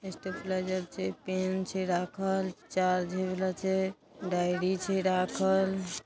stabiliser छै pen छै राखल चार्ज होय वाला छै डायरी छै राखल--